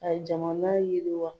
A ye jaman yiriwa.